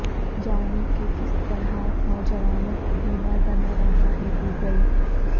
جانیں کہ کس طرح نوجوانوں کو بیمار بنا رہا ہے گوگل